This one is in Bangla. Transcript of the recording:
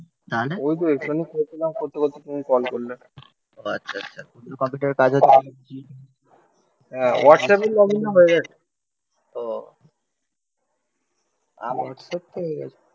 তাহলে ওই যে ওখানে খোঁজ না করতে করতে তুমি কল করলে, ও আচ্ছা আচ্ছা কম্পিউটারের কাজ হচ্ছে হ্যা. হোয়াটসঅ্যাপে লগইন হয়ে গেছে ও আমি হচ্ছে ঠিক আছে